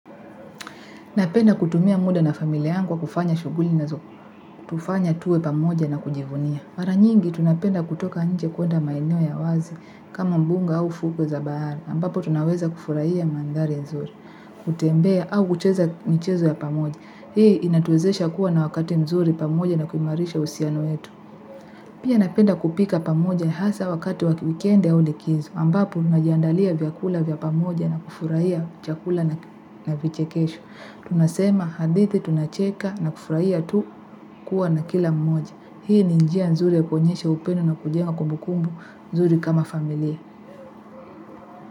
Napenda kutumia muda na familia yangu kwa kufanya shughuli nazo. Tufanya tuwe pamoja na kujivunia. Mara nyingi, tunapenda kutoka nje kwenda maeneo ya wazi, kama mbuga au fuko za bahari, ambapo tunaweza kufurahia mandari nzuri, kutembea au kucheza michezo ya pamoja. Hii inatuwezesha kuwa na wakati nzuri pamoja na kuimarisha uhusiano wetu. Pia napenda kupika pamoja hasa wakati wa kiwikendi au likizo, ambapo najiandalia vyakula vya pamoja na kufurahia chakula na vichekesho. Tunasema hadithi tunacheka na kufurahia tu kuwa na kila mmoja. Hii ni njia nzuri ya kuonyesha upendo na kujenga kumbukumbu nzuri kama familia.